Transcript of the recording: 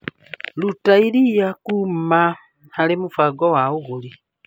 Ruta iria kuma harĩ mũbango wa ũgũri .